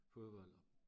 Fodbold og